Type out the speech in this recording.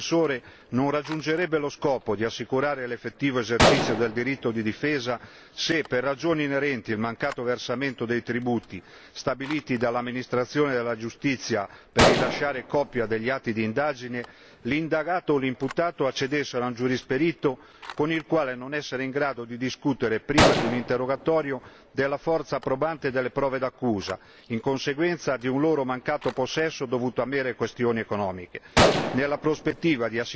Il diritto di accesso a un difensore non raggiungerebbe lo scopo di assicurare l'effettivo esercizio del diritto di difesa se, per ragioni inerenti al mancato versamento dei tributi stabiliti dall'amministrazione della giustizia per rilasciare copia degli atti di indagine, l'indagato o l'imputato accedessero a un giurisperito con il quale non sarebbero in grado di discutere prima di un interrogatorio della forza probante delle prove d'accusa in conseguenza di un loro mancato possesso dovuto a mere questioni economiche.